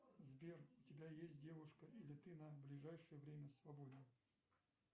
сбер у тебя есть девушка или ты на ближайшее время свободен